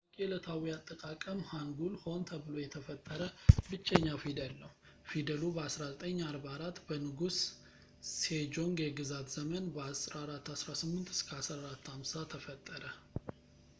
በታዋቂ ዕለታዊ አጠቃቀም ሃንጉል ሆን ተብሎ የተፈጠረ ብቸኛ ፊደል ነው። ፊደሉ በ 1444 በንጉስ ሴጆንግ የግዛት ዘመን 1418 - 1450 ተፈጠረ